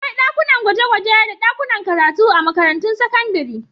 Akwai dakunan gwaje-gwaje da dakunan karatu a makarantun sakandare.